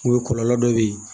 O ye kɔlɔlɔ dɔ bɛ ye